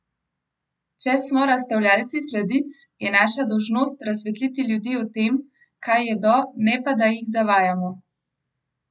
Če smo razstavljavci sladic, je naša dolžnost razsvetliti ljudi o tem, kaj jedo, ne pa da jih zavajamo!